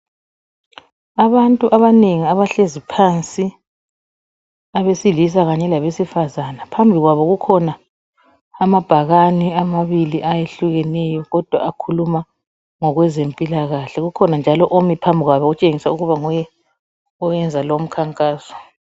Abantu abanengi abahlezi phansi abesilisa kanye labesifazana. Phambi kwabo kukhona amabhakane amabili ayehlukeneyo kodwa akhuluma ngowezempilakahle. Kukhona njalo omi phambi kwabo kutshengisela ukuna nguye oyenza lomkhankaso.